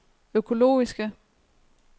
økologiske